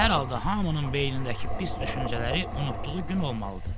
Hər halda hamının beynindəki pis düşüncələri unutduğu gün olmalıdır.